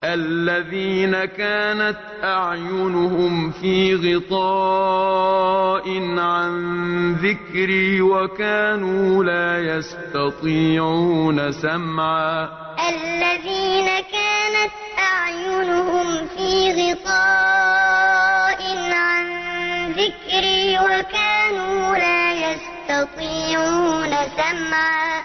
الَّذِينَ كَانَتْ أَعْيُنُهُمْ فِي غِطَاءٍ عَن ذِكْرِي وَكَانُوا لَا يَسْتَطِيعُونَ سَمْعًا الَّذِينَ كَانَتْ أَعْيُنُهُمْ فِي غِطَاءٍ عَن ذِكْرِي وَكَانُوا لَا يَسْتَطِيعُونَ سَمْعًا